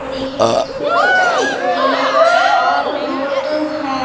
पड़ी है जिसपे जुताई हुई है और रोड है।